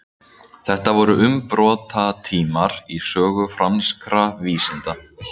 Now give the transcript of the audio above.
Þetta voru umbrotatímar í sögu franskra vísinda.